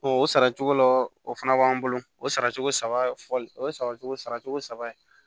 o sara cogo laɔ o fana b'an bolo o saracogo saba fɔli o ye saracogo sara cogo saba